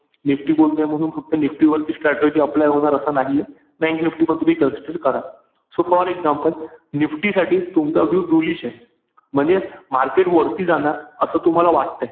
NIFTY बोलतोय म्हणून फक्त NIFTY वर ची strategy apply होणार असं नाहीये. Bank NIFTY पण तुम्ही consider करा. So for example NIFTY साठी तुमचा view bullish ए. म्हणजे market वरती जाणार असं तुम्हाला वाटतंय.